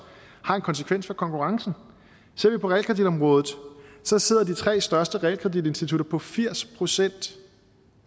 har en konsekvens for konkurrencen ser vi på realkreditområdet sidder de tre største realkreditinstitutter på firs procent